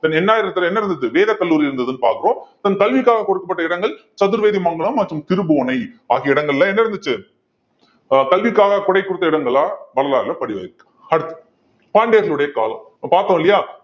then எண்ணாயிரத்துல என்ன இருந்தது வேதக்கல்லூரி இருந்ததுன்னு பார்க்கிறோம் then கல்விக்காக கொடுக்கப்பட்ட இடங்கள் சதுர்வேதிமங்கலம் மற்றும் திருப்புவனை ஆகிய இடங்கள்ல என்ன இருந்துச்சு அஹ் கல்விக்காக கொடை கொடுத்த இடங்களா வரலாறுல பதிவாயிருக்கு அடுத்து பாண்டியர்களுடைய காலம் இப்ப பார்த்தோம் இல்லையா